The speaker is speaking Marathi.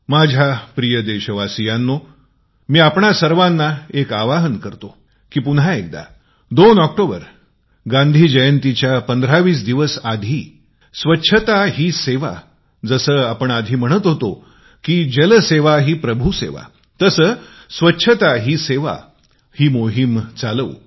माझ्या प्रिय देशवासियांनो मी आपणा सर्वांना एक आव्हान करतो की पुन्हा एक वेळ 2 ऑक्टोबर गांधी जयंतीच्या 1520 दिवसापूर्वी स्वच्छता ही सेवा जसे आधी म्हणत होतो जल सेवा ही प्रभू सेवा स्वच्छता ही सेवा ही मोहीम चालवू